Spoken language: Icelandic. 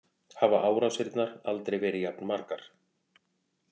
Hafa árásirnar aldrei verið jafn margar